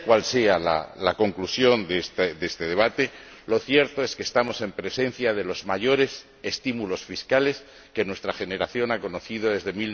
Sea cual sea la conclusión de este debate, lo cierto es que estamos en presencia de los mayores estímulos fiscales que nuestra generación ha conocido desde